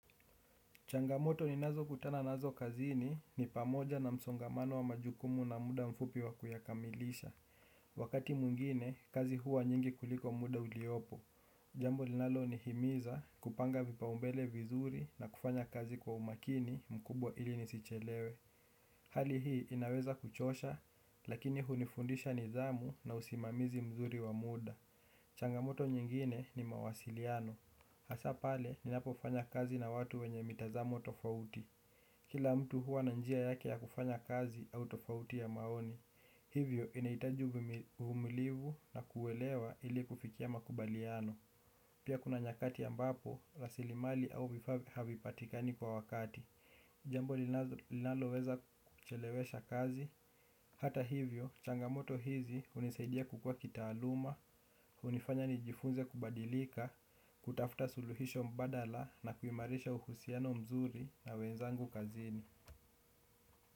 Changamoto ni nazo kutana nazo kazini ni pamoja na msongamano wa majukumu na muda mfupi wa kuyakamilisha. Wakati mwingine, kazi huwa nyingi kuliko muda uliopo. Jambo linalo ni himiza kupanga vipa umbele vizuri na kufanya kazi kwa umakini mkubwa ili nisichelewe. Hali hii inaweza kuchosha, lakini hunifundisha nidhamu na usimamizi mzuri wa muda. Changamoto nyingine ni mawasiliano. Hasaa pale ninapo fanya kazi na watu wenye mitazamo tofauti. Kila mtu hua na njia yake ya kufanya kazi au tofauti ya maoni. Hivyo inaitaji uvumilivu na kuelewa ili kufikia makubaliano. Pia kuna nyakati ambapo rasilimali au vifaa havipatikani kwa wakati. Jambo linalo weza kuchelewesha kazi. Hata hivyo changamoto hizi unisaidia kukua kitaaluma. Unifanya nijifunze kubadilika, kutafuta suluhisho mbadala na kuimarisha uhusiano mzuri na wenzangu kazini.